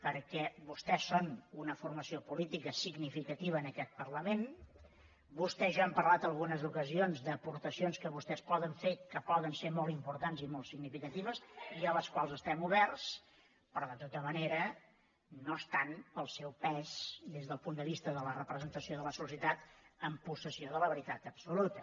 perquè vostès són una formació política significativa en aquest parlament vostè i jo hem parlat en algunes ocasions d’aportacions que vostès poden fer que poden ser molt importants i molt significatives i a les quals estem oberts però de tota manera no estan pel seu pes des del punt de vista de la representació de la societat en possessió de la veritat absoluta